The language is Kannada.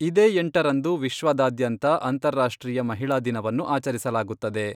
ಇದೇ ಎಂಟರಂದು ವಿಶ್ವದಾದ್ಯಂತ ಅಂತಾರಾಷ್ಟ್ರೀಯ ಮಹಿಳಾ ದಿನವನ್ನು ಆಚರಿಸಲಾಗುತ್ತದೆ.